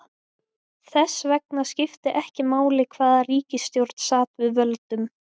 Þess vegna skipti ekki máli hvaða ríkisstjórn sat að völdum.